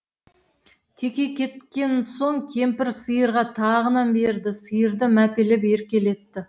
теке кеткен соң кемпір сиырға тағы нан берді сиырды мәпелеп еркелетті